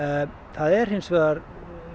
það er hins vegar